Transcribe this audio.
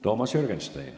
Toomas Jürgenstein.